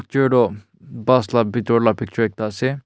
car toh bus la bitor la picture ekta ase.